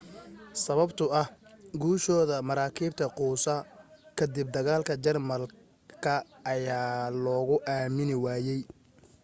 sababtoo ah guushooda maraakiibta quusa ka dib dagaalka germanka ayaa luugu aamini waayay